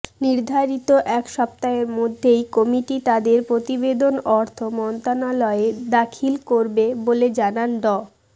নির্ধারিত এক সপ্তাহের মধ্যেই কমিটি তাদের প্রতিবেদন অর্থ মন্ত্রণালয়ে দাখিল করবে বলে জানান ড